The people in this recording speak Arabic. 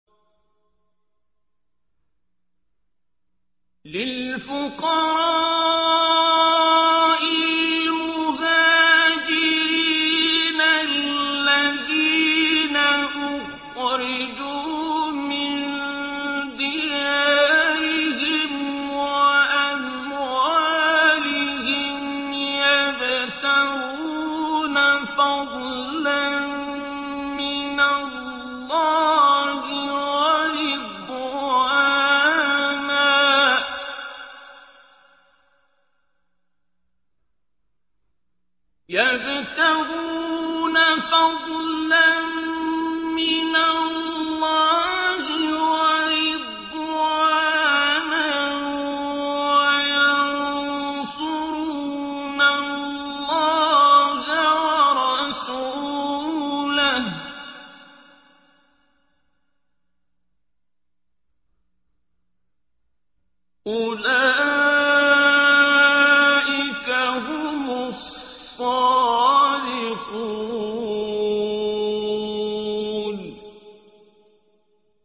لِلْفُقَرَاءِ الْمُهَاجِرِينَ الَّذِينَ أُخْرِجُوا مِن دِيَارِهِمْ وَأَمْوَالِهِمْ يَبْتَغُونَ فَضْلًا مِّنَ اللَّهِ وَرِضْوَانًا وَيَنصُرُونَ اللَّهَ وَرَسُولَهُ ۚ أُولَٰئِكَ هُمُ الصَّادِقُونَ